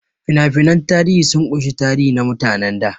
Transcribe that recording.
Fina-finan tarihi sun ƙunshi tarihi na mutanen da.